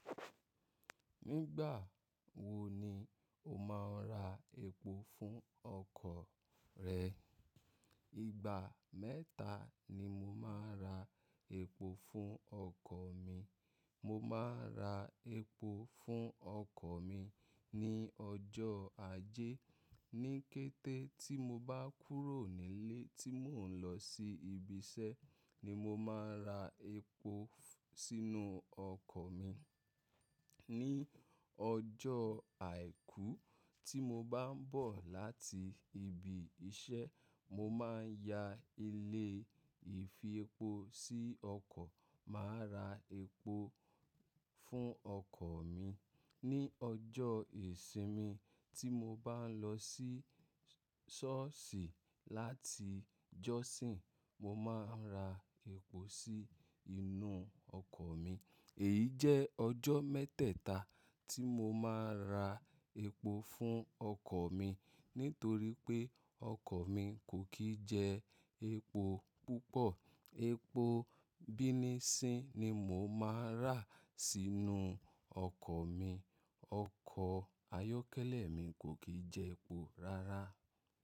Nígbà wo ni o máa ń ra epo fún ọkọ̀ rẹ? Ìgbà mẹ́ta ni mo máa ń ra epo fún ọkọ̀ mi. Mo máa ń ra epo fún ọkọ̀ mi ní ọjọ́ ajé. Ní kété tí mo bá kúrò nílé tí mò ń lọ sí ibi iṣẹ́ ni mo máa ń ra epo sínú ọkọ̀ mi. Ni ọjọ́ àìkú tí mo bá ń bọ̀ láti ibi iṣẹ́, mo máa ń ya ile ìfi epo sí ọkọ̀, màá ra epo fún ọkọ̀ mi. Ni ọjọ́ ìsinmi tí mo bá ń lọ sí ṣọ́ọ̀ṣì láti jọ́sìn, mo máa ń ra epo sí inú ọkọ̀ mi. Èyí jẹ́ ọjọ́ mẹ́tẹ̀ẹ̀ta tí mo máa ń ra epo fún ọkọ̀ mi nítorí pé ọkọ̀ mi kò kí jẹ epo púpọ̀. Epo bínisínì ni mo máa ń rà sínú ọkọ̀ mi. Ọkọ̀ ayọ́kẹ́lẹ́ mi kò kí jẹ epo rárá.